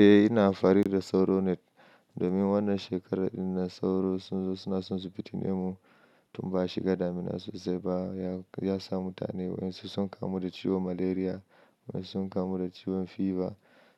Eh ina amfani da sauro net domin wannan shekarar ɗinan sauro sun zo suna tsuntsunse fitinu mu, tun ba shiga damina sosai ba ya sa mutane wasu sun kamu da ciwon malaria wasu sun kamu da ciwon fever